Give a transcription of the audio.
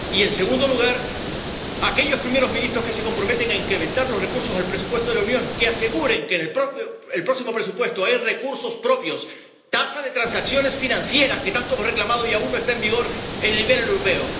Y, en segundo lugar aquellos primeros ministros que se comprometen a incrementar los recursos al presupuesto de la Unión, que aseguren que en el próximo presupuesto hay recursos propios, tasa de transacciones financieras, que tanto hemos reclamado y aún no está en vigor en el nivel europeo.